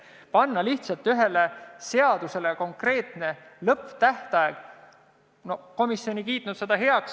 Aga panna lihtsalt ühele seadusele konkreetne lõpptähtaeg – no komisjon ei kiitnud seda heaks.